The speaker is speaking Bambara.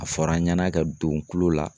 A fɔra an ɲɛna ka don tulo la